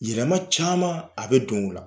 Yɛlɛma caman a bɛ don o la.